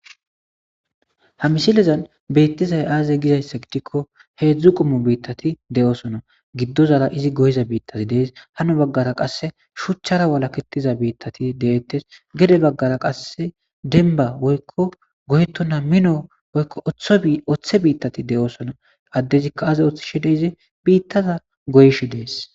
ha misilezan bettizay aazey gizayssa gidikko heedzdzu qommo biittati de7osona giddozara izi goyiza biittati dees hano baggara qasse shuchchara walaketiza biittati de7ettes gede baggara qasse denba woykko goyetona mino woykko oththe biittati de7osona addezikka aaze oththi shi de izi biittaza goyshe dees